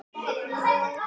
Hún er frjáls núna.